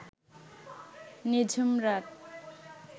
নিঝুম রাত